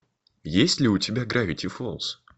есть ли у тебя гравити фолз